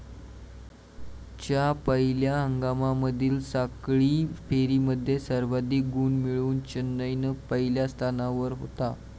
च्या पहिल्या हंगामामधील साखळी फेरीमध्ये सर्वाधिक गुण मिळवून चेन्नईन पहिल्या स्थानावर होता.